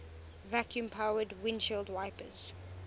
vacuum powered windshield wipers